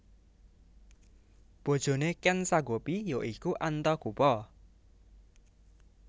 Bojone Ken Sagopi ya iku Antagopa